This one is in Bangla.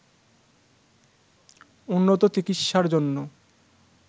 উন্নত চিকিৎসার জন্য